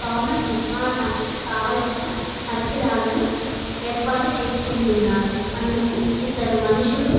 భవనం నిర్మాణానికి కావాల్సిన పరికరాలను ఏర్పాటు చేసుకుంటున్నారు. అందుకు ఇద్దరు మనుసులు--